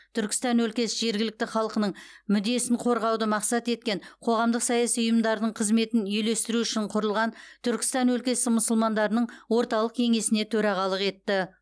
түркістан өлкесі жергілікті халқының мүддесін қорғауды мақсат еткен қоғамдық саяси ұйымдардың қызметін үйлестіру үшін құрылған түркістан өлкесі мұсылмандарының орталық кеңесіне төрағалық етті